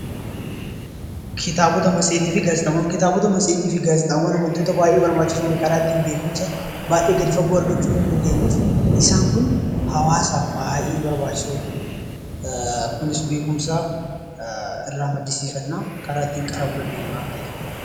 Kitaabota matseetii fi gaazexaawwan Kitaabota matseetii fi gaazexaawwan waantota baayyee barbaachisoo beekumsa gad fagoo argachuu dandeenyu, isaan Kun hawaasaaf baayyee barbaachisoodha. Kunis beekumsa irraa maddisiifannaa karaa ittiin qaramuu dandeenyu waan ta'eef.